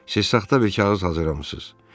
Siz saxta bir kağız hazırlamısınız.